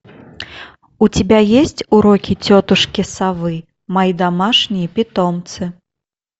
у тебя есть уроки тетушки совы мои домашние питомцы